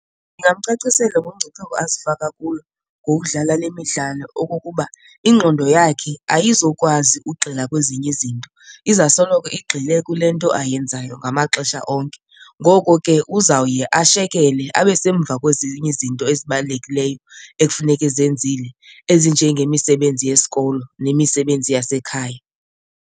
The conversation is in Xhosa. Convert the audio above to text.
Ndingamcacisela ngomngcipheko azifaka kulo ngokudlala le midlalo okokuba ingqondo yakhe ayizukwazi ugxila kwezinye izinto, iza soloko igxile kule nto ayenzayo ngama xesha onke. Ngoko ke uzawuye ashekele abe semva kwezinye izinto ezibalulekileyo ekufuneke ezenzile ezinjengemisebenzi yesikolo nemisebenzi yasekhaya.